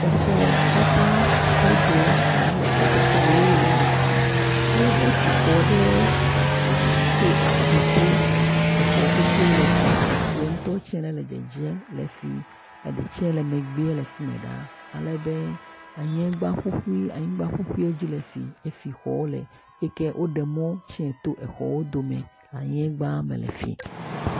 Exɔ tata blibo alo exɔtutue ne le fi ale be wotu xɔ ɖe etsi to aƒu to, exɔ pete le efi etsi ŋutɔ tse le dzedzem le efi eɖe tse le emegbe le efi me ɖaa alebe anyiegba ƒuƒui anyigba ƒuƒui le dzedzem le efi efi xɔ le xe ke woɖe mɔ tsi to exɔ ɖome anyiegba me le fi.